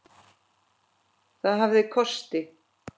Það hafði kosti.